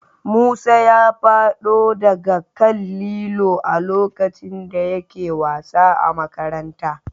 Musa ya fado daga kan Lillo a lokacin da yake wasa a Makaranta